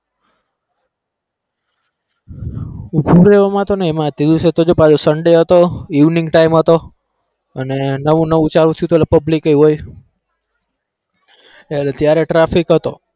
ઉભું રહેવામાં તો નહીં એમાં તે દિવસે તો જો પાછો sunday હતો evening time હતો અને નવું નવું ચાલુ થયું હતું એટલે public એ હોય. એટલે ત્યારે traffic હતો.